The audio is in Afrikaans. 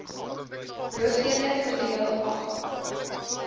hoofdele verdeel afval